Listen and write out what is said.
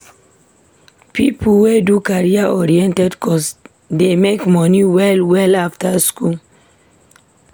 Pipo wey do career-oriented course dey make moni well-well after school.